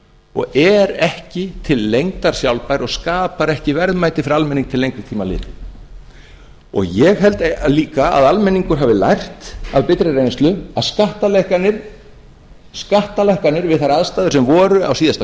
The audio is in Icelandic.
og er ekki til lengdar sjálfbær og skapar ekki verðmæti fyrir almenning til lengri tíma litið og ég held líka að almenningur hafi lært af bitra reynslu að skattalækkanir við þær aðstæður sem voru síðasta